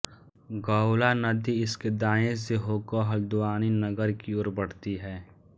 गौला नदी इसके दायें से होकर हल्द्वानी नगर की ओर बढ़ती है